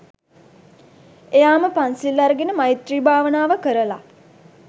එයාම පන්සිල් අරගෙන මෛත්‍රී භාවනාව කරල